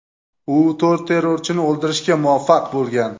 U to‘rt terrorchini o‘ldirishga muvaffaq bo‘lgan.